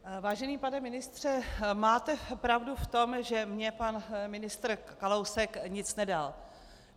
Vážený pane ministře, máte pravdu v tom, že mně pan ministr Kalousek nic nedal.